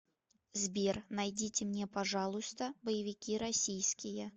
сбер найдите мне пожалуйста боевики российские